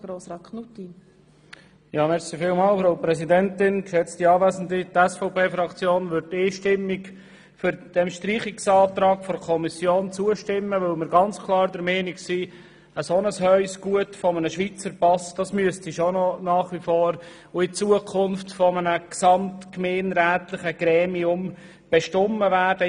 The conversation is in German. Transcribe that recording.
Die SVP-Fraktion wird dem Streichungsantrag der Kommission einstimmig zustimmen, weil wir ganz klar der Meinung sind, ein dermassen hohes Gut, wie es der Schweizer Pass ist, müsste nach wie vor und auch in Zukunft von einem gesamtgemeinderätlichen Gremium bestimmt werden.